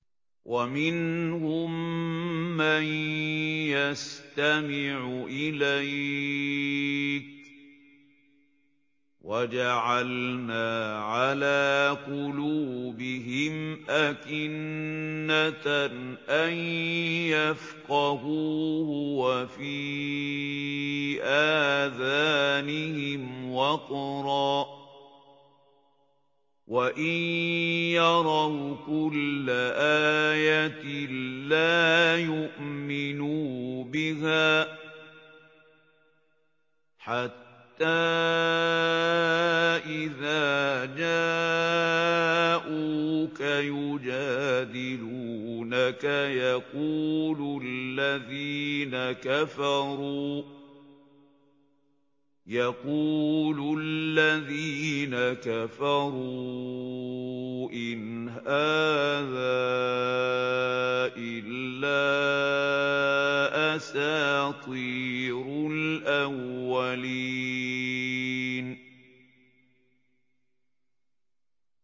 وَمِنْهُم مَّن يَسْتَمِعُ إِلَيْكَ ۖ وَجَعَلْنَا عَلَىٰ قُلُوبِهِمْ أَكِنَّةً أَن يَفْقَهُوهُ وَفِي آذَانِهِمْ وَقْرًا ۚ وَإِن يَرَوْا كُلَّ آيَةٍ لَّا يُؤْمِنُوا بِهَا ۚ حَتَّىٰ إِذَا جَاءُوكَ يُجَادِلُونَكَ يَقُولُ الَّذِينَ كَفَرُوا إِنْ هَٰذَا إِلَّا أَسَاطِيرُ الْأَوَّلِينَ